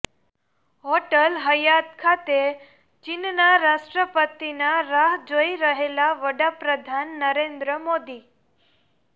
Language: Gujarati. હોટલ હયાત ખાતે ચીનના રાષ્ટ્રપતિના રાહ જોઇ રહેલા વડાપ્રધાન નરેન્દ્ર મોદી